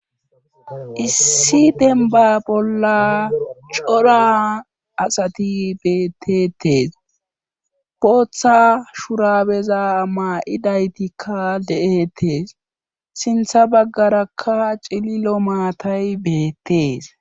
issi denba bolla cora asati beettetees bootha shurabeza ama7idaytikka de7etees sintha baggarakka cililo maatay beettees